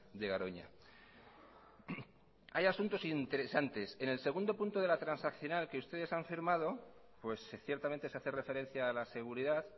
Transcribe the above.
de garoña hay asuntos interesantes en el segundo punto de la transaccional que ustedes han firmado pues ciertamente se hace referencia a la seguridad